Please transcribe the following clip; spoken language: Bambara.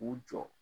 K'u jɔ